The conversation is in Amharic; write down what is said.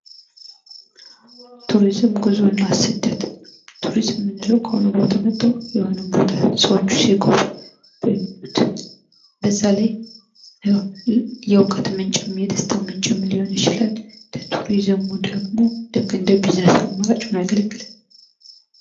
ቱሪዝም፣ ጉዞና ስደት፦ ቱሪዝም ምንለው ከሆነቦታ መተው የሆነን ቦታ ሰዋቹ ሲጎበኙት, በዛላይ የውቀት ምንጭም የደስታ ምንጭም ሊሆን ይችላል። ለቱሪዝሙ ደግሞ ልክ እንደ ቢዝነስ አማራጭ ሆኖ ያገለግላል።